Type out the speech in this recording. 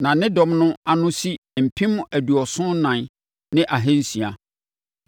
Na ne dɔm no ano si mpem aduɔson ɛnan ne ahansia (74,600).